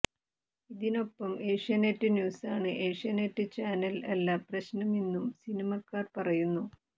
ഇതിനൊപ്പം ഏഷ്യാനെറ്റ് ന്യൂസാണ് ഏഷ്യാനെറ്റ് ചാനൽ അല്ല പ്രശ്നമെന്നും സിനിമാക്കാർ പറയുന്നു